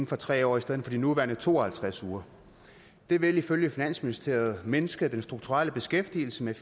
for tre år i stedet for de nuværende to og halvtreds uger det vil ifølge finansministeriet mindske den strukturelle beskæftigelse med